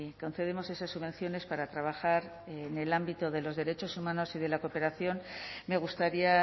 concedemos esas subvenciones para trabajar en el ámbito de los derechos humanos y de la cooperación me gustaría